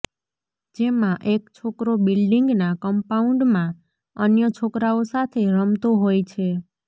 જેમાં એક છોકરો બિલ્ડિંગના કમ્પાઉન્ડમાં અન્ય છોકરાઓ સાથે રમતો હોય છે